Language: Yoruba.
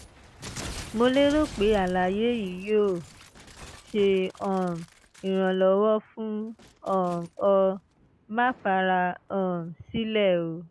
mo lérò pé àlàyé yìí yóò ṣe um ìrànlọ́wọ́ fún um ọ; má fara um sílẹ̀ o